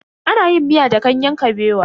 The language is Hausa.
Ana yin miya da ganyen kabewa.